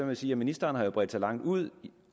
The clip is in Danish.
jeg sige at ministeren har bredt sig langt ud